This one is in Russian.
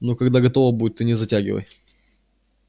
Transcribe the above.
ну когда готово будет ты не затягивай